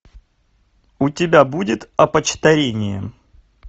у тебя будет опочтарение